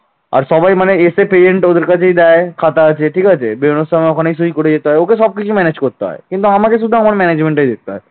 আর সবাই মানে এসে present ওদের কাছেই দেয় খাতা আছে ঠিক আছে বেরোনোর সময় ওখানেই সই করে যেতে হয় ওকে সবকিছু manage করতে হয়। কিন্তু আমাকে শুধু আমার management দেখতে হয়